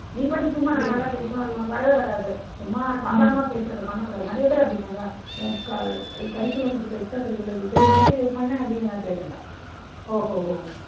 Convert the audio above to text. நீங்களும் சும்மா நான் நல்லா பேசுவேன். அது உனக்கு வரவே வராது. சும்மா சாதாரணமா பேசறதை பண்ணக்கூடாது. நிறைய பேர் அப்பிடி பண்றாங்க. curricular extra curricular தெரியுமா? சரி அதை பண்னேன் அப்பிடீன்னு எல்லாம் கேட்டுடறா. ஓஹோஹோ.